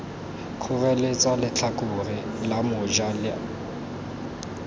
kgoreletsa letlhakore la moja la